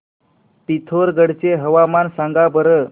पिथोरगढ चे हवामान सांगा बरं